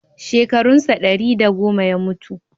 Shekarun sa ɗari da goma ya mutu.